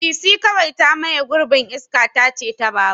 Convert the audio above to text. Bisi kawai ta maye gurbin iska tace ta babur.